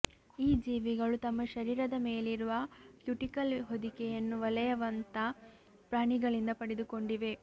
ಈ ಜೀವಿಗಳು ತಮ್ಮ ಶರೀರದ ಮೇಲಿರುವ ಕ್ಯುಟಿಕಲ್ ಹೊದಿಕೆಯನ್ನು ವಲಯವಂತ ಪ್ರಾಣಿಗಳಿಂದ ಪಡೆದುಕೊಂಡಿವೆ